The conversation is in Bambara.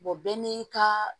bɛɛ n'i ka